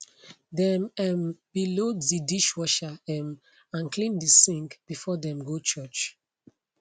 dem um be load de dishwasher um and clear de sink before dem go church